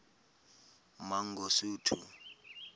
mangosuthu